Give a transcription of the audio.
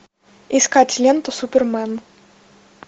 искать ленту супермен